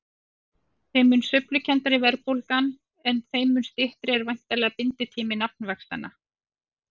Þeim mun sveiflukenndari verðbólgan er þeim mun styttri er væntanlega binditími nafnvaxtanna.